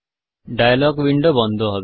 dialogue window বন্ধ হবে